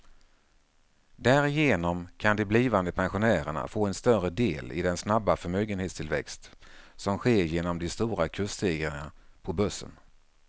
Därigenom kan de blivande pensionärerna få en större del i den snabba förmögenhetstillväxt som sker genom de stora kursstegringarna på börsen.